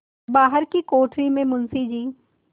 बाहर की कोठरी में मुंशी जी